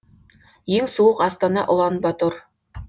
ең суық астана улан батор